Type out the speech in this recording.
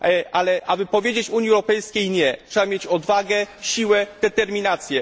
Ale aby powiedzieć Unii Europejskiej nie, trzeba mieć odwagę, siłę, determinację.